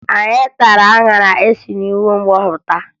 Anyị tara aṅara anyị si n'ugbo m họpụta